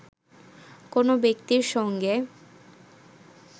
কোনো ব্যক্তির সঙ্গে